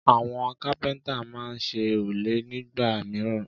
Àwọn kápẹ́ńtà máa ń ṣe òrùlé nígbà mìíràn.